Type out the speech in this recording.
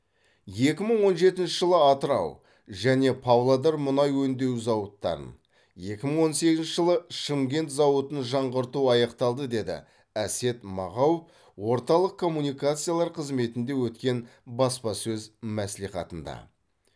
екі мың он жетінші жылы атырау және павлодар мұнай өңдеу зауыттарын екі мың он сегізінші жылы шымкент зауытын жаңғырту аяқталды деді әсет мағауов орталық коммуникациялар қызметінде өткен баспасөз мәслихатында